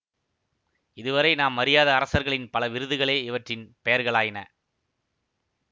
இதுவரை நாம் அறியாத அரசர்களின் பல விருதுகளே இவற்றின் பெயர்களாயின